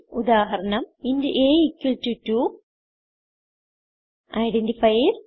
ഉദാഹരണം ഇന്റ് അ2 ഐഡന്റിഫയർസ്